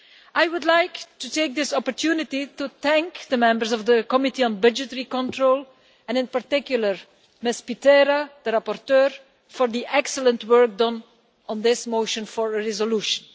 I would like to take this opportunity to thank the members of the Committee on Budgetary Control, and in particular Ms Pitera, the rapporteur, for the excellent work done on this motion for a resolution.